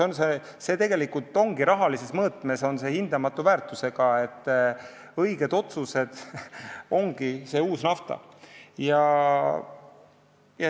See on rahalises mõõtmes hindamatu väärusega: õiged otsused ongi see uus nafta.